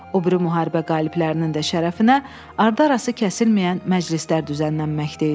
O biri müharibə qaliblərinin də şərəfinə ardı-arası kəsilməyən məclislər düzənlənməkdə idi.